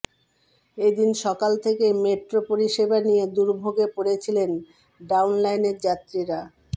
এদিন সকাল থেকেই মেট্রো পরিষেবা নিয়ে দুর্ভোগে পড়েছিলেন ডাউন লাইনের যাত্রীরা